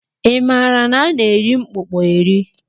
I maara na a na-eri mkpụkpọ eri?